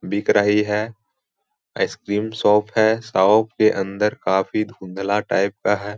दिख रही है आइसक्रीम शॉप है शॉप के अंदर काफी धुंधला टाइप का है।